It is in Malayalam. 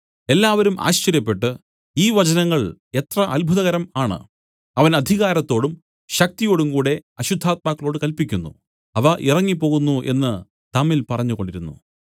എല്ലാവരും ആശ്ചര്യപ്പെട്ട് ഈ വചനങ്ങൾ എത്ര അത്ഭുതകരം ആണ് അവൻ അധികാരത്തോടും ശക്തിയോടുംകൂടെ അശുദ്ധാത്മാക്കളോട് കല്പിക്കുന്നു അവ ഇറങ്ങിപ്പോകുന്നു എന്നു തമ്മിൽ പറഞ്ഞുകൊണ്ടിരുന്നു